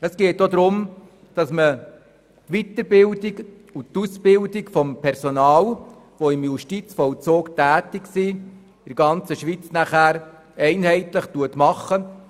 Auch soll die Aus- und Weiterbildung des Personals, das im Justizvollzug tätig ist, in der ganzen Schweiz einheitlich erfolgen.